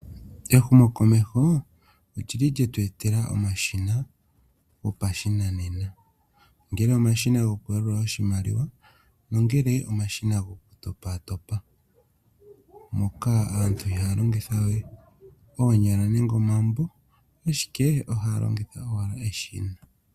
Ehumo komeho olyi li lyetwetela omashina ngele omashina gopashinanena ngele omashina gokuyalula iimaliwa nongele omashina gokutopatopa moka aantu ihaya longitha we oonyala nenge oomabo ashike ohaya longitha owala eshina.